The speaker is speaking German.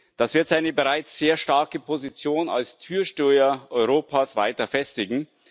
Das wird seine bereits sehr starke Position als Türsteher Europas weiter festigen.